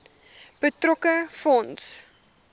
betrokke fonds